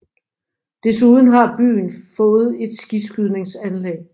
Desuden har byen fået et skiskydningsanlæg